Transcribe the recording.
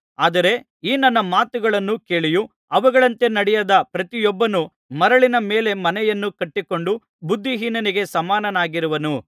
ಆದರೆ ಈ ನನ್ನ ಮಾತುಗಳನ್ನು ಕೇಳಿಯೂ ಅವುಗಳಂತೆ ನಡೆಯದ ಪ್ರತಿಯೊಬ್ಬನು ಮರಳಿನ ಮೇಲೆ ಮನೆಯನ್ನು ಕಟ್ಟಿಕೊಂಡ ಬುದ್ಧಿಹೀನನಿಗೆ ಸಮನಾಗಿರುವನು